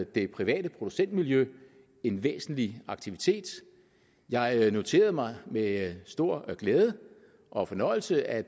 det private producentmiljø en væsentlig aktivitet jeg noterede mig med stor glæde og fornøjelse at